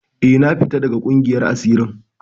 Eh, na fita daga ƙungiyar asirin.